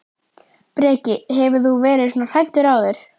Breki: Hefur þú verið svona hræddur áður?